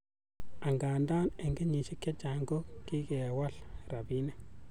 Angandan, en kenyisiek chechang ko kikewal rabinik.